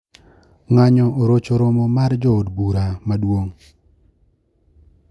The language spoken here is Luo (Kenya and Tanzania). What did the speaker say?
Ng`anyo orocho romo mar jo od bura maduong`